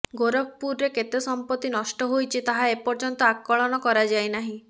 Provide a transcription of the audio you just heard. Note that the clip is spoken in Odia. ଗୋରଖପୁରରେ କେତେ ସମ୍ପତ୍ତି ନଷ୍ଟ ହୋଇଛି ତାହା ଏପର୍ଯ୍ୟନ୍ତ ଆକଳନ କରାଯାଇନାହିଁ